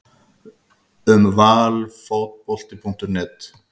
Um Valfotbolti.net